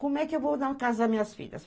Como é que eu vou na casa das minhas filhas?